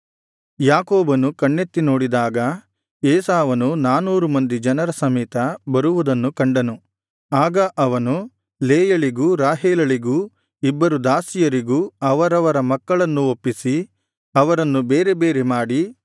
ಯಾಕೋಬನು ಕಣ್ಣೆತ್ತಿ ನೋಡಿದಾಗ ಏಸಾವನು ನಾನೂರು ಮಂದಿ ಜನರ ಸಮೇತ ಬರುವುದನ್ನು ಕಂಡನು ಆಗ ಅವನು ಲೇಯಳಿಗೂ ರಾಹೇಲಳಿಗೂ ಇಬ್ಬರು ದಾಸಿಯರಿಗೂ ಅವರವರ ಮಕ್ಕಳನ್ನು ಒಪ್ಪಿಸಿ ಅವರನ್ನು ಬೇರೆ ಬೇರೆ ಮಾಡಿ